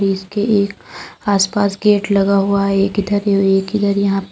इसके एक आसपास गेट लगा हुआ है एक इधर अ एक इधर यहां--